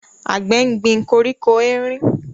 Àgbẹ̀ gbin koríko erin